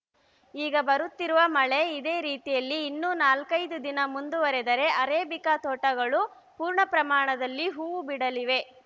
ಈಗ ಬರುತ್ತಿರುವ ಮಳೆ ಇದೇ ರೀತಿಯಲ್ಲಿ ಇನ್ನು ನಾಲ್ಕೈದು ದಿನ ಮುಂದುವರೆದರೆ ಅರೇಬಿಕಾ ತೋಟಗಳು ಪೂರ್ಣ ಪ್ರಮಾಣದಲ್ಲಿ ಹೂವು ಬಿಡಲಿವೆ